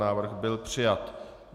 Návrh byl přijat.